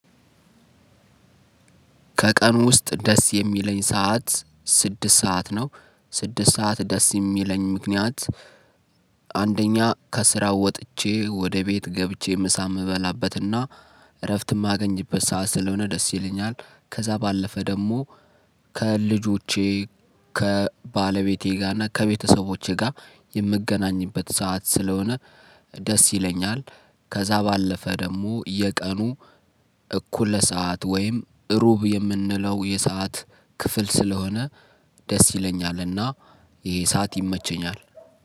ከቀን ውስጥ ደስ የሚለኝ ሰዓት ስድስት ሰዓት ነው ስድስት ሰዓት ደስ የሚለኝ ምክንያት። አንደኛ ከስራው ወጥቼ ወደ ቤት ገብቼ ምሳ የምበላበትና እረፍት የማገኝበት ሰዓት ስለሆነ ደስ ይለኛል። ከዛ ባለፈ ደግሞ ከልጆቼ ከባለቤቴ ጋር እና ከቤተሰቦቼ ጋር የምገናኝበት ሰዓት ስለሆነ ደስ ይለኛል። ከዛ ባለፈ ደሞ የቀኑ እኩለ ሰዓት ወይም እሩብ የምንለው የሰዓት ክፍል ስለሆነ ደስ ይለኛል። እና ይሄ ሰዓት ይመቸኛል